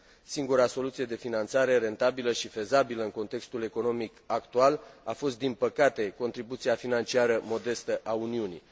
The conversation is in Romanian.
Singura soluție de finanțare rentabilă și fezabilă în contextul economic actual a fost din păcate contribuția financiară modestă a Uniunii.